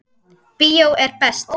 Bíó er best.